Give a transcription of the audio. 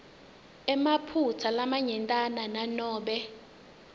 emaphutsa lamanyentana nanobe